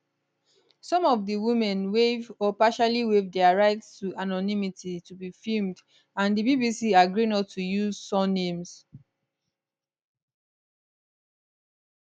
some of di women waive or partially waive dia right to anonymity to be filmed and di bbc agree not to use surnames